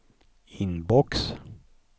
inbox